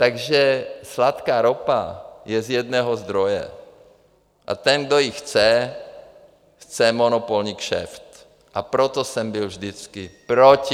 Takže sladká ropa je z jednoho zdroje a ten, kdo ji chce, chce monopolní kšeft, a proto jsem byl vždycky proti.